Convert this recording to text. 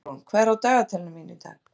Gunnrún, hvað er á dagatalinu mínu í dag?